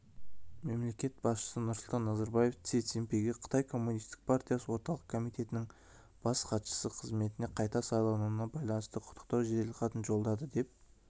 мемлекет басшысы нұрсұлтан назарбаев си цзиньпинге қытай коммунистік партиясы орталық комитетінің бас хатшысы қызметіне қайта сайлануына байланысты құттықтау жеделхатын жолдады деп